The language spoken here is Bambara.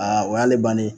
Aa o y'ale bannen ye